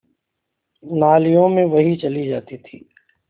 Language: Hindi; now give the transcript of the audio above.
नालियों में बही चली जाती थी